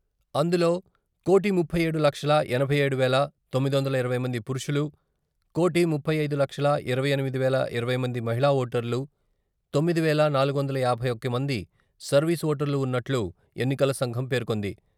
అందులో కోటి ముప్పై ఏడు లక్షల ఎనభై ఏడు వేల తొమ్మిది వందల ఇరవై మంది పురుషులు, కోటీ ముప్పై ఐదు లక్షల ఇరవై ఎనిమిది వేల ఇరవై మంది మహిళా ఓటర్లు తొమ్మిది వేల నాలుగు వందల యాభై ఒకటి మంది సర్వీసు ఓటర్లు, ఉన్నట్లు ఎన్నికల సంఘం పేర్కొంది.